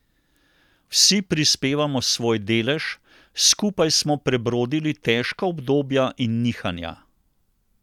Vsi prispevamo svoj delež, skupaj smo prebrodili težka obdobja in nihanja.